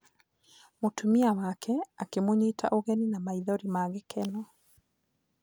Mũtumia wake akĩmũnyita ũgeni na maithori ma gĩkeno.